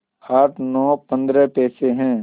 आठ नौ पंद्रह पैसे हैं